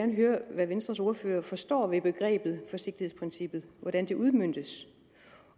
vil høre hvad venstres ordfører forstår ved begrebet forsigtighedsprincippet hvordan det udmøntes